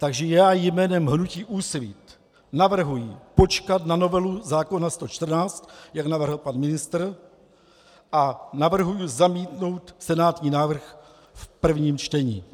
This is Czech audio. Takže já jménem hnutí Úsvit navrhuji počkat na novelu zákona 114, jak navrhl pan ministr, a navrhuji zamítnout senátní návrh v prvním čtení.